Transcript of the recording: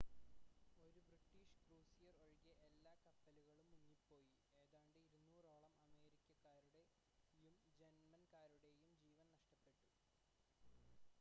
ഒരു British cruiser ഒഴികെ എല്ലാ കപ്പലുകളും മുങ്ങിപ്പോയി ഏതാണ്ട് 200 ഓളം അമേരിക്കക്കാരുടെയും ജർമ്മൻകാരുടെയും ജീവൻ നഷ്ടപ്പെട്ടു